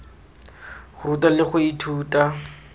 go ruta le go ithuta